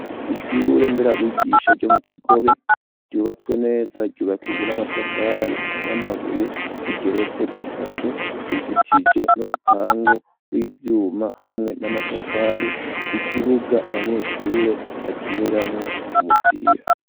Ishure nderabigisha, ryo mu Kigobe, ryubatswe neza, ryubakijwe n'amatafari, n'amabuye; igeretse gatatu, izitije n'urupangu rw'ivyuma, hamwe n'amatafari; ikibuga, abanyeshure bakiniramwo, umupira.